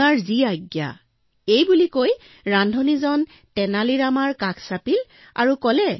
আপোনাৰ আজ্ঞা শিৰোধাৰ্য বুলি সৈ ৰান্ধনি পোনেই তেনালী ৰামৰ ওচৰলৈ গল